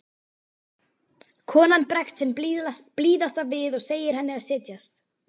Konan bregst hin blíðasta við og segir henni að setjast.